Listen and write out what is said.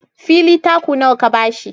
Fili taku nawa ka ba shi?